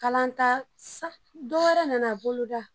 Kalanta dɔwɛrɛ nana boloda